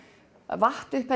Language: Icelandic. vatt upp